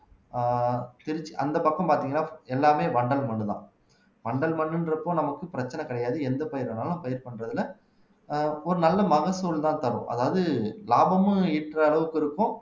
ஆஹ் திருச்சி அந்த பக்கம் பாத்தீங்கன்னா எல்லாமே வண்டல் மண்தான் வண்டல் மண்ணுன்றப்போ நமக்கு பிரச்சனை கிடையாது எந்த பயிர் வேணாலும் பயிர் பண்றதுல ஒரு நல்ல மகசூல்தான் தரும் அதாவது லாபமும் ஈற்ற அளவுக்கு இருக்கும்